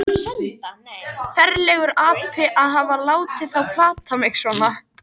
Ferlegur api að hafa látið þá plata mig svona.